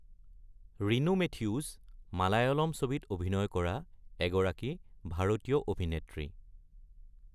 Rinu Mathews Malayalam ছবিত অভিনয় কৰা এগৰাকী ভাৰতীয় অভিনেত্ৰী।